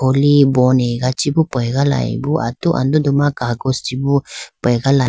Khuli bon ega chibi pegalayibi atu andodu ma kakosh chibi pegala.